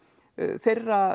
þeirra